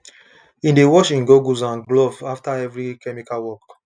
e dey wash im goggles and gloves after every chemical work